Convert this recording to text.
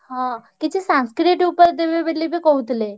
ହଁ କିଛି Sanskrit ଉପରେ ଦେବେ ବୋଲିବି କହୁଥିଲେ।